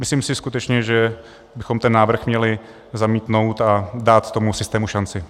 Myslím si skutečně, že bychom ten návrh měli zamítnout a dát tomu systému šanci.